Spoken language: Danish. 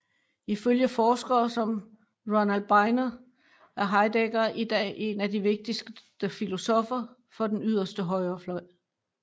Ifølge forskere som Ronald Beiner er Heidegger i dag en af de vigtigste filosoffer for den yderste højrefløj